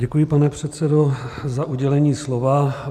Děkuji, pane předsedo, za udělení slova.